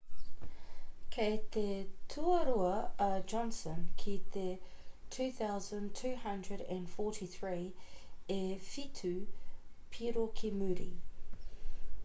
kei te tuarua a johnson ki te 2,243 e whitu piro ki muri